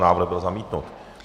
Návrh byl zamítnut.